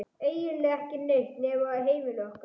Eiginlega ekki neitt nema heimili okkar.